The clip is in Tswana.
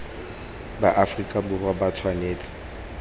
ba aferika borwa ba tshwanetse